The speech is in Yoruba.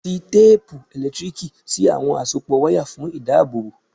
Fi téèpu ẹ̀lẹ́tíríìkì sí àwọn àsopọ̀ wáyà fún ìdábòbò.